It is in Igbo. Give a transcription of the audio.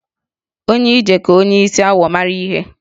Onye ije ka onye isi awọ mara ihe